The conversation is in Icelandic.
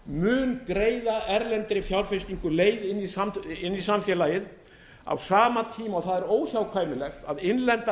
mun greiða erlendri fjárfestingu leið inn í samfélagið á sama tíma og það er óhjákvæmilegt að innlendar